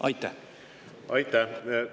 Aitäh!